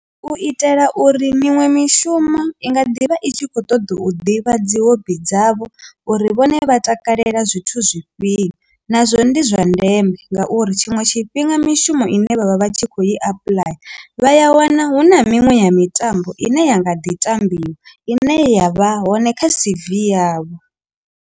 U itela uri miṅwe mishumo i nga ḓivha i tshi kho ṱoḓa u ḓivha dzi hobi dzavho uri vhone vha takalela zwithu zwifhio nazwo ndi zwa ndeme ngauri tshiṅwe tshifhinga mishumo ine vhavha vha tshi kho i apuḽaya vha ya wana hu na miṅwe ya mitambo ine ya nga ḓi tambiwa ine ya vha hone kha C_V yavho.